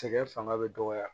Sɛgɛn fanga bɛ dɔgɔya